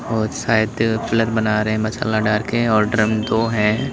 और सायद पिलर बना रहे हैं मसाला डालकर और ड्रम दो हैं।